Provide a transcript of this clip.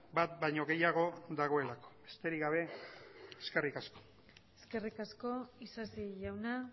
bat baino gehiago dagoelako besterik gabe eskerrik asko eskerrik asko isasi jauna